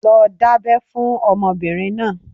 lọ dábẹ́ fún ọmọbirin náà!